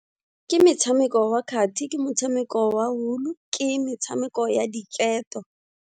Ke metshameko wa kgathi, ke motshameko wa wool, ke metshameko ya diketo.